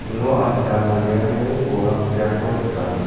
uno adita manderangni olakkiako nika.